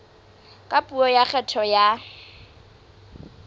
ka puo ya kgetho ya